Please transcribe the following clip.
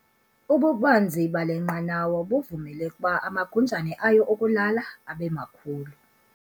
Ububanzi bale nqanawa buvumele ukuba amagunjana ayo okulala abe makhulu.